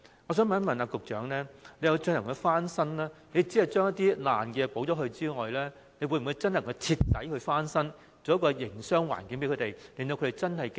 我想問局長，他所指的翻新工程，除了將破爛地方修葺外，會否徹底改善營商環境，使攤檔能夠妥善經營？